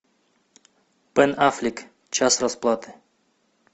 бен аффлек час расплаты